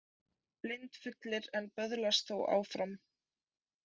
Blindfullir en böðlast þó áfram